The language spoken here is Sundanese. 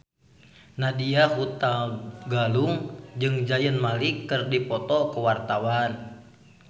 Nadya Hutagalung jeung Zayn Malik keur dipoto ku wartawan